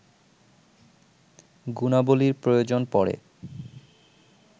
গুণাবলীর প্রয়োজন পড়ে